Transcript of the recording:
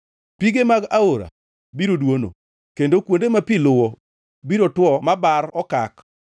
Pige mag aora biro dwono, kendo kuonde ma pi luwo biro two ma bar okak.